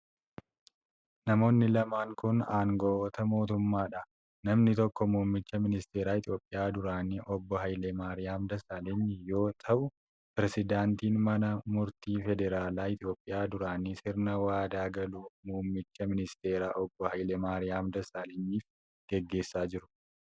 Namoonni lamaan kun, aangawoota mootummaa dha. Namni tokko muummicha ministeeraa Itoophiyaa duraanii Obbo Hayilamaariyaam Dassaalany yoo ta'u, pireezidantiin mana murtii federaalaa Itoophiyaa duraanii sirna waadaa galuu muummicha ministeeraa Obbo Hayilamaariyaam Dassaalanyiif gaggeessaa jiru.